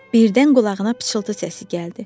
Birdən qulağına pıçıltı səsi gəldi.